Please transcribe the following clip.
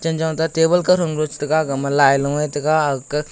table kawthon guchetega agama lai loe tega agah--